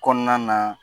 Kɔnɔna na